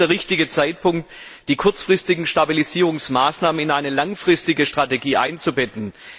Jetzt ist der richtige Zeitpunkt, die kurzfristigen Stabilisierungsmaßnahmen in eine langfristige Strategie einzubetten.